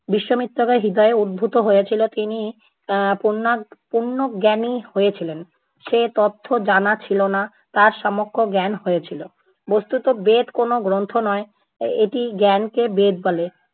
বিশ্বামিত্রের হৃদয়ে উদ্ভূত হয়েছিল তিনি এ্যা পূর্ণা~ পূর্ণ জ্ঞানী হয়েছিলেন। যে তথ্য জানা ছিল না, তার সম্যক জ্ঞান হয়ে ছিলো। বস্তুত বেদ কোনো গ্রন্থ নয়, এটি জ্ঞানকে বেদ বলে।